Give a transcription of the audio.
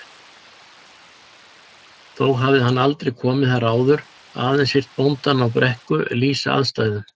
Þó hafði hann aldrei komið þar áður, aðeins heyrt bóndann á Brekku lýsa aðstæðum.